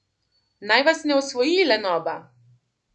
Naj vas ne osvoji lenoba!